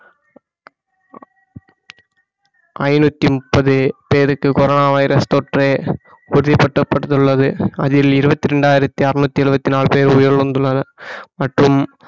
ஐநூத்தி முப்பது பேருக்கு கொரோனா வைரஸ் தொற்று உறுதிபடுத்தப்பட்டுள்ளது அதில் இருபத்தி இரண்டாயிரத்தி அறுநூற்றி எழுபத்தி நாலு பேர் உயிரிழந்துள்ளனர் மற்றும்